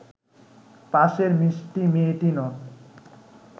পাশের মিষ্টি মেয়েটি নন